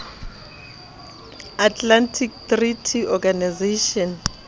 atlantic treaty organization